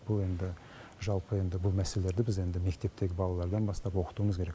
бұл енді жалпы енді бұл мәселелерді біз енді мектептегі балалардан бастап оқытуымыз керек